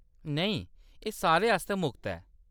नेईं, एह्‌‌ सारें आस्तै मुख्त ऐ।